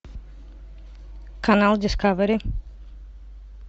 канал дискавери